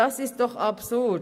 Das ist doch absurd: